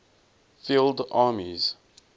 field armies